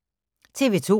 TV 2